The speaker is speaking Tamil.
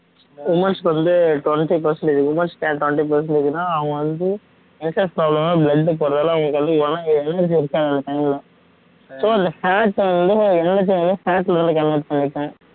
womens க்கு வந்து twenty percentage women's க்கு ஏன் twenty percentage ன்னா அவங்க வந்து menstrual problem னால blood போறனால அவங்களுக்கு வந்து energy இருக்காது அந்த time ல so இந்த fat வந்து energy level க்கு convert பண்ணிக்கும்